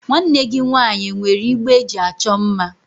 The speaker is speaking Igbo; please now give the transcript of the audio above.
Nwanne gị nwaanyị e nwere igbe eji achọ mma?